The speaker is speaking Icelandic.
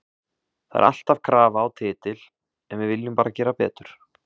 Það er alltaf krafa á titil en við viljum bara gera betur.